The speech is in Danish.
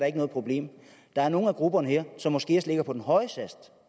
er noget problem der er nogle af grupperne her som måske ellers ligger på den høje